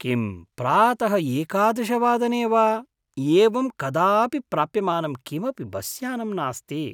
किं प्रातः एकादश वादने वा एवं कदापि प्राप्यमानं किमपि बस्यानं नास्ति?